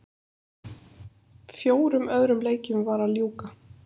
Fjórum öðrum leikjum var að ljúka